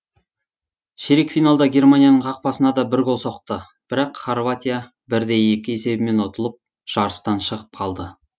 ширек финалда германияның қақпасына да бір гол соқты бірақ хорватия бір де екі есебімен ұтылып жарыстан шығып қалды